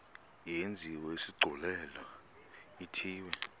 yenziwe isigculelo ithiwe